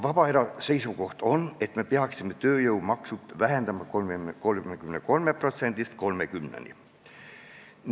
Vabaerakonna seisukoht on, et me peaksime tööjõumakse vähendama 33%-st 30%-ni.